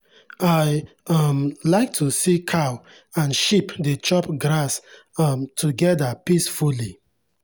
i um like to see cow and sheep dey chop grass um together peacefully.